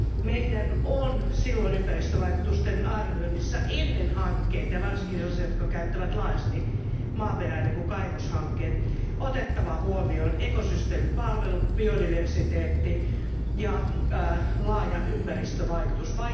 Meidän on silloin ympäristövaikutusten arvioinnissa ennen hankkeita, ja varsinkin sellaisia jotka käyttävät laajasti maaperää, niin kuin kaivoshankkeet, otettava huomioon ekosysteemipalvelut, biodiversideetti ja laaja ympäristövaikutus.